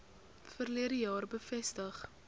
verlede jaar bevestig